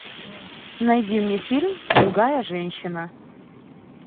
найди мне фильм другая женщина